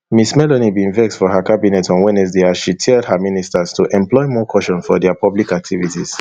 ms meloni bin vex for her cabinet on wednesday as she tell her ministers to employ more caution for dia public activities